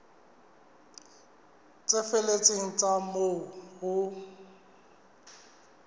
tse felletseng tsa moo ho